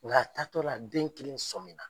Nk'a taatɔla den kelen sɔminna.